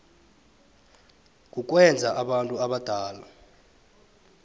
kukwenza abantu abadala